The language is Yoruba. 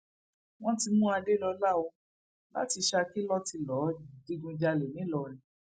wọn ti mú adélọlá o láti saki lọ tí lọọ digunjalè ńìlọrin